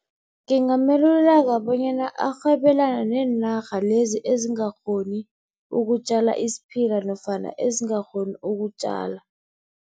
Ngingameluleka bonyana arhwebelane neenarha lezi ezingakghoni ukutjala isiphila nofana ezingakghoni ukutjala.